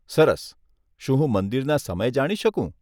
સરસ. શું હું મંદિરના સમય જાણી શકું?